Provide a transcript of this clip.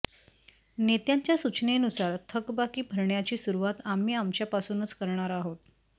नेत्यांच्या सूचनेनुसार थकबाकी भरण्याची सुरूवात आम्ही आमच्यापासूनच करणार आहोत